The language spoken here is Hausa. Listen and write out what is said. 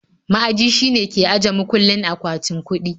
Ma'aji shine ke ajiye mukullin akwatin kuɗi